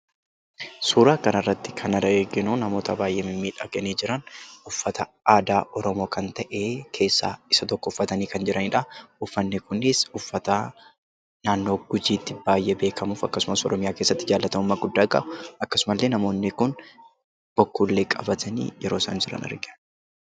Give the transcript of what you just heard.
Suuraa kana irratti kan arginu, namoota baayyee mimmiidhaganii jiran, uffata aadaa Oromoo kan ta'e keessa isa tokko uffatanii kan jiranidha. Uffanni kunis uffata naannoo gujiitti baayyee beekamuu fi Oromiyaa keessatti jaalatamummaa guddaa akkasuma illee namoonni Kun bokkuu illee qabatanii argina.